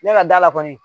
Ne ka da la kɔni